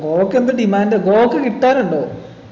കോവക്ക എന്ത് demand ആ കോവക്ക കിട്ടാനുണ്ടോ